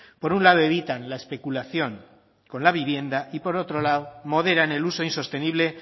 por un lado evitan la especulación con la vivienda y por otro lado moderan el uso insostenible